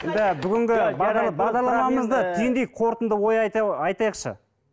енді бүгінгі бағдарламамызды түйіндейік қортынды ой айтайықшы